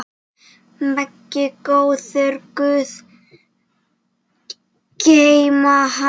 Megi góður guð geyma hann.